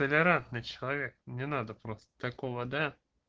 толерантный человек мне надо просто такого да